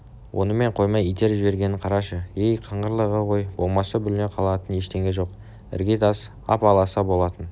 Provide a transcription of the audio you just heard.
онымен қоймай итеріп жібергенін қарашы ей қыңырлығы ғой болмаса бүліне қалатын ештеңе жоқ іргетас ап-аласа болатын